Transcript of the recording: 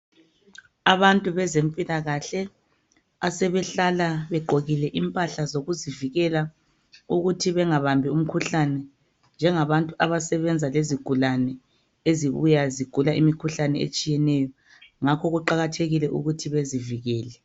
Abantu bezempilakahle asebehlala begqokile impahla zokuzivikela ukuthi bengabambi umkhuhlane njengabantu abasebenza lezigulane ezibuya ezigula imikhuhlane etshiyeneyo ngakho kuqakathekile ukuthi bezivikele